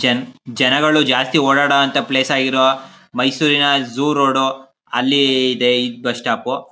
ಜನ್ ಜನಗಳು ಜಾಸ್ತಿ ಓಡಾಡುವಂತಹ ಪ್ಲೇಸ್ ಆಗಿರುವ ಮೈಸೂರ್ ರಿನ ಜೂ ರೋಡ್ ಅಲ್ಲಿ ಇದೆ ಈ ಬಸ್ ಸ್ಟಾಪ್ .